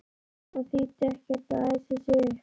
Það þýddi ekkert að æsa sig upp.